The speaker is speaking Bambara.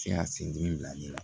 Ti ka sen dimi bila ne la